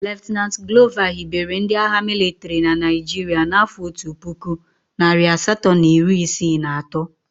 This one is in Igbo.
Lt Glover hibere ndị agha mịlịtrị na Naịjirịa n'afọ otu puku, narị asatọ na iri isii na atọ.